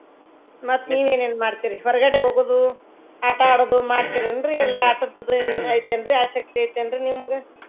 ಹ್ಮ್ ಮತ್ತ್ ನೀವ್ ಏನೇನ್ ಮಾಡ್ತೀರಿ ಹೊರಗಡೆ ಹೋಗೋದು ಆಟಾ ಆಡುದು ಮಾಡ್ತಿನೇನ್ರೀ ಎಲ್ಲಾ ಆಟದದ್ದು ಇದ್ ಐತಿ ಏನ್ರೀ ಆಸಕ್ತಿ ಐತಿ ಏನ್ರೀ ನಿಮ್ಗ?